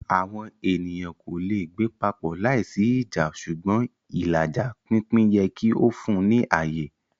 Awọn eniyan ko le gbe papọ laisi ija ṣugbọn ilaja/pinpin yẹ ki o fun ni aye.